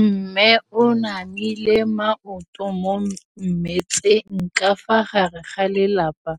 Mme o namile maoto mo mmetseng ka fa gare ga lelapa